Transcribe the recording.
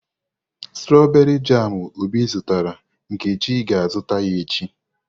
Stroberii jamu obi zụtara, Nkechi ga-azụta ya echi.